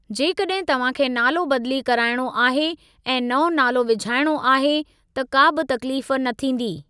जेकॾहिं तव्हां खे नालो बदली कराइणो आहे ऐं नओं नालो विझाइणो आहे, त का बि तकलीफ़ न थींदी।